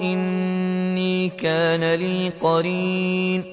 إِنِّي كَانَ لِي قَرِينٌ